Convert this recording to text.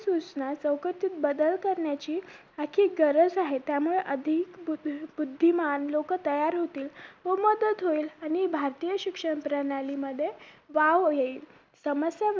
सुसना चौकटीत बदल करण्याची अति गरज आहे त्यामुळे आधी बुद्धी बुद्धिमान लोक तयार होतील खूप मदत होईल आणि भारतीय शिक्षण प्रणाली मध्ये वाव येईल समस्या